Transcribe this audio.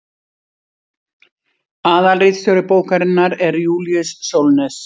aðalritstjóri bókarinnar er júlíus sólnes